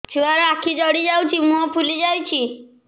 ଛୁଆର ଆଖି ଜଡ଼ି ଯାଉଛି ମୁହଁ ଫୁଲି ଯାଇଛି